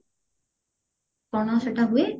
କଣ ସେଟା ହୁଏ